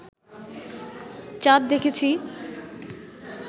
চাঁদ দেখেছি